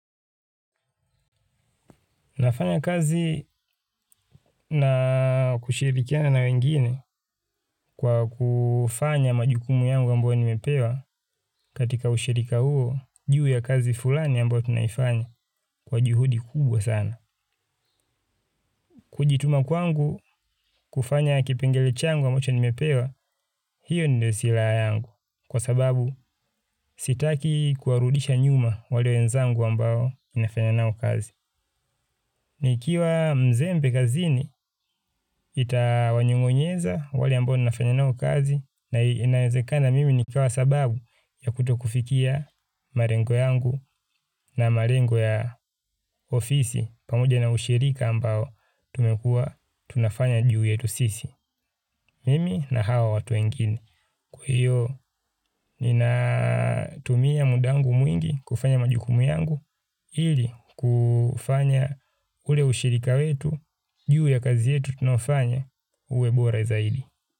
Nafanya kazi na kushirikiana na wengine kwa kufanya majukumu yangu ambayo nimepewa katika ushirika huu, juu ya kazi fulani ambayo tunaifanya kwa juhudi kubwa sana. Kujituma kwangu kufanya kipengele changu ambacho nimepewa, hiyo ndio silaha yangu. Kwa sababu sitaki kuwarudisha nyuma wale wenzangu ambao nimefanya nao kazi. Nikiwa mzembe kazini itawanyong'onyeza wale ambao ninafanya nao kazi na inawezekana mimi nikiwa sababu ya kutokufikia marengo yangu na marengo ya ofisi pamoja na ushirika ambao tumekuwa tunafanya juu yetu sisi. Mimi na hawa watu wengine. Kwa hiyo, ninatumia muda wangu mwingi kufanya majukumu yangu ili kufanya ule ushirika wetu, juu ya kazi yetu tunayofanya uwe bora zaidi.